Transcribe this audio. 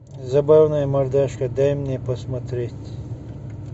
забавная мордашка дай мне посмотреть